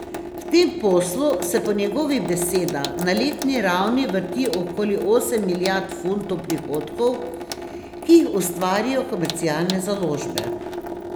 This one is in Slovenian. V tem poslu se po njegovih besedah na letni ravni vrti okoli osem milijard funtov prihodkov, ki jih ustvarijo komercialne založbe.